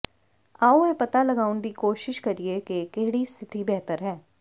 ਆਓ ਇਹ ਪਤਾ ਲਗਾਉਣ ਦੀ ਕੋਸ਼ਿਸ਼ ਕਰੀਏ ਕਿ ਕਿਹੜੀ ਸਥਿਤੀ ਬਿਹਤਰ ਹੈ